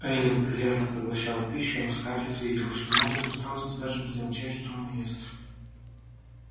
эллин прилежно поглощала пищу но скарлетт видела что мать от усталости даже не замечает что она ест